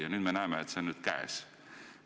Ja nüüd me näeme, et see ongi käes.